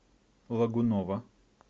лагунова